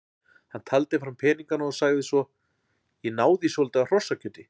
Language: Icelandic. Hann taldi fram peningana og sagði svo: Ég náði í svolítið af hrossakjöti.